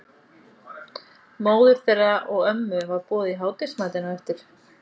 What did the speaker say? Móður þeirra og ömmu var boðið í hádegismatinn á eftir.